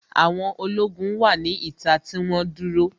Àwọn ológun wà ní ìta tí wọ́n dúró